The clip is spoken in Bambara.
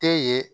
Tɛ ye